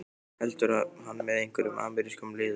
Heldur hann með einhverjum amerískum liðum?